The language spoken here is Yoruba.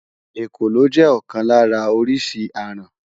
Èkòló jẹ́ ọ̀kan lára oríṣi aràn.